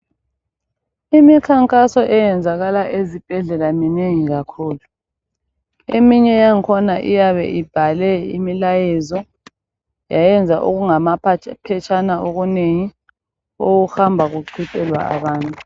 Imikhankaso eyenzakala ezibhedlela minengi kakhulu. Eminye yakhona iyabe ibhale imilayezo yayenza okungamapha..phetshana okunengi okuhamba kuqhutshelwa abantu.